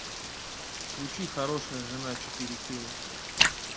включи хорошая жена четыре кей